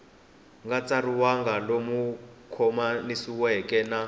nga tsariwangi lowu khomanisiweke na